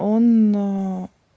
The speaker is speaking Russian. он